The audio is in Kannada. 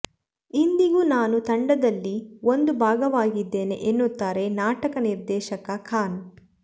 ಇಂದಿಗೂ ನಾನು ತಂಡದಲ್ಲಿ ಒಂದು ಭಾಗವಾಗಿದ್ದೇನೆ ಎನ್ನುತ್ತಾರೆ ನಾಟಕ ನಿರ್ದೇಶಕ ಖಾನ್